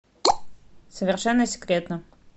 совершенно секретно